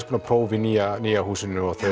konar próf í nýja nýja húsinu og